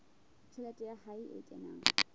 tjhelete ya hae e kenang